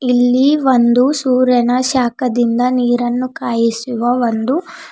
ಇಲ್ಲಿ ಒಂದು ಸೂರ್ಯನ ಶಾಕದಿಂದ ನೀರನ್ನು ಕಾಯಿಸುವ ಒಂದು--